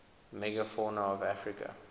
megafauna of africa